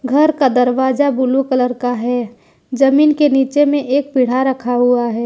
घर का दरवाजा ब्लू कलर का है जमीन के नीचे में एक पीढ़ा रखा हुआ है।